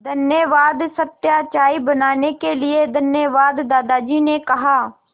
धन्यवाद सत्या चाय बनाने के लिए धन्यवाद दादाजी ने कहा